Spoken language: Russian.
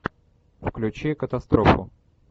включи катастрофу